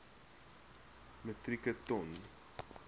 metrieke ton